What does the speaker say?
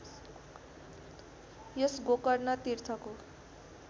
यस Gokarna तीर्थको